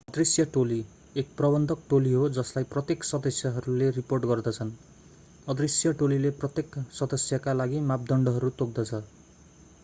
अदृश्य टोली एक प्रबन्धक टोली हो जसलाई प्रत्येक सदस्यहरूले रिपोर्ट गर्दछन् अदृश्य टोलीले प्रत्येक सदस्यका लागि मापदण्डहरू तोक्दछ